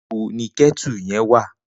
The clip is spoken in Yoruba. Nibó ni kètú yèn.wá?